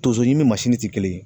Tonso ɲini tɛ kelen yen